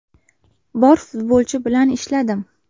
Bor futbolchi bilan ishladim.